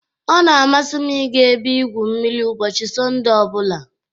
ọ na-amasị m ịga ebe igwu mmiri ụbọchị Sọnde ọ bụla